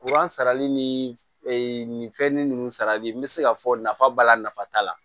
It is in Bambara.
Kuran sarali ni e ni fɛn nunnu sarali n bɛ se k'a fɔ nafa b'a la nafa t'a la